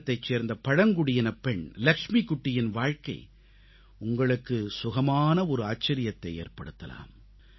கேரளத்தைச் சேர்ந்த பழங்குடியினப் பெண் லக்ஷ்மிகுட்டியின் வாழ்க்கை உங்களுக்கு சுகமான ஒரு ஆச்சரியத்தை ஏற்படுத்தலாம்